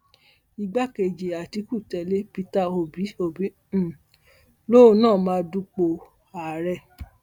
igbákejì àtìkù tẹlé pété obi obi um lòun náà máa dúpọ ààrẹ